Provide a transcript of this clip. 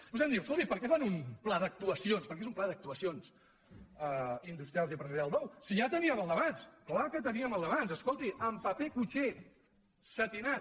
vostè em diu escolti per què fan un pla d’actuacions perquè és un pla d’actuacions industrials i empresarials nou si ja teníem el d’abans és clar que teníem el d’abans escolti en paper cuixé setinat